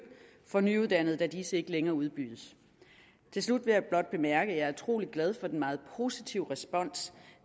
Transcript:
for nyuddannede da disse ikke længere udbydes til slut vil jeg blot bemærke at jeg er utrolig glad for den meget positive respons